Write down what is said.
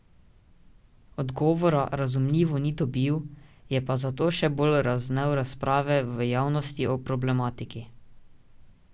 Odgovora, razumljivo, ni dobil, je pa zato še bolj razvnel razprave v javnosti o problematiki.